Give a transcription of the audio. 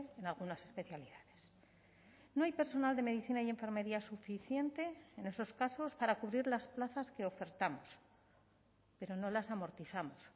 en algunas especialidades no hay personal de medicina y enfermería suficiente en esos casos para cubrir las plazas que ofertamos pero no las amortizamos